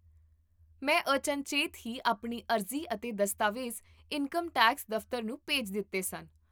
ਮੈਂ ਅਚਨਚੇਤ ਹੀ ਆਪਣੀ ਅਰਜ਼ੀ ਅਤੇ ਦਸਤਾਵੇਜ਼ ਇਨਕਮ ਟੈਕਸ ਦਫ਼ਤਰ ਨੂੰ ਭੇਜ ਦਿੱਤੇ ਸਨ